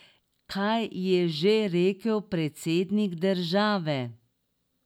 Kaj je že rekel predsednik države?